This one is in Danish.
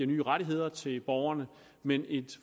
nye rettigheder til borgerne men et